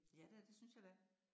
Ja da, det synes jeg da